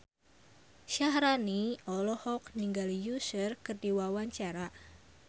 Syaharani olohok ningali Usher keur diwawancara